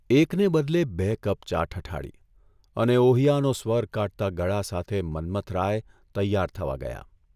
એકને બદલે બે કપ ચા ઠઠાડી અને ' ઓહિયા'નો સ્વર કાઢતા ગળા સાથે મન્મથરાય તૈયાર થવા ગયા.